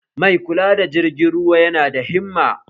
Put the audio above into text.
Mai kula da jirgin ruwa yana da himma